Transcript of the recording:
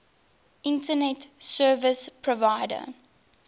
internet service provider